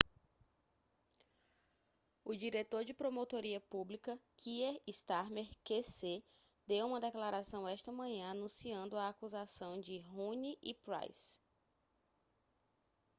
o diretor de promotoria pública kier starmer qc deu uma declaração esta manhã anunciando a acusação de huhne e pryce